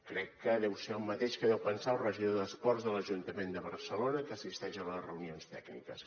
crec que deu ser el mateix que deu pensar el regidor d’esports de l’ajuntament de barcelona que assisteix a les reunions tècniques